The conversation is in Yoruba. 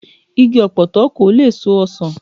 Igi ọ̀pọ̀tọ́ kò lè so ọsàn